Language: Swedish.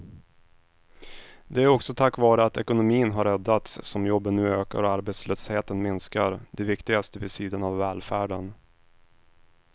Det är också tack vare att ekonomin har räddats som jobben nu ökar och arbetslösheten minskar, det viktigaste vid sidan av välfärden.